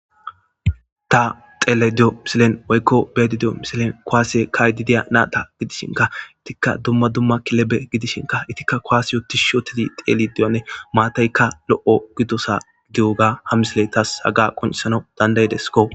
Ta xeelediyo misilen woykko beedidiyo misilen kowaase kaydideya naata gidishinka ittikka dumma dumma kilebe gidishinka itikka koasi yootish shootezi xeeli diyanne maataykka lo7o gidosa giy7oga ha misiletas haga qoncisano dandayideskko.